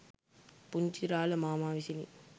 පුංචිරාළ මාමා විසිනි.